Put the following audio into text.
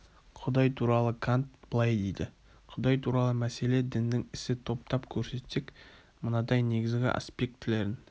құдай туралы кант былай дейді құдай туралы мәселе діннің ісі топтап көрсетсек мынадай негізгі аспектілерін